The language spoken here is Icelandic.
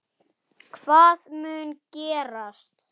Hvað mun gerast?